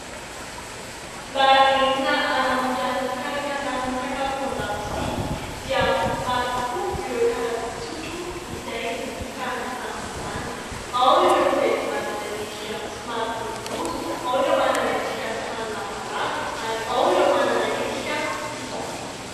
Mba entina hanamorana ny fikarakaranan'ny sakafo an-dakozia dia maro tokoa ireo karazan-tsotro izay novokarina tamin'izany ; ao ireo izay manana endrika somary boribory, ao ireo manana endrika somary lavalava ary ao ireo manana endrika fisaka.